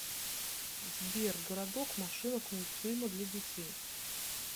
сбер городок машинок мультфильмы для детей